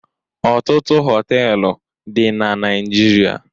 Ọtụtụ họtelụ dị na Naịjirịa.